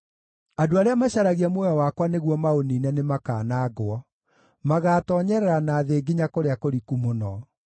Andũ arĩa macaragia muoyo wakwa nĩguo maũniine nĩmakanangwo; magaatoonyerera na thĩ nginya kũrĩa kũriku mũno.